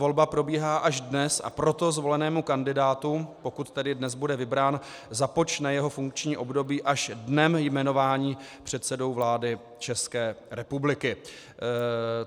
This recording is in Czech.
Volba probíhá až dnes, a proto zvolenému kandidátovi, pokud tedy dnes bude vybrán, započne jeho funkční období až dnem jmenování předsedou vlády České republiky.